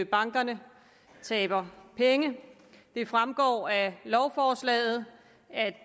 bankerne taber penge det fremgår af lovforslaget at